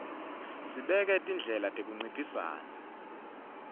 sibeka tindlela tekunciphisa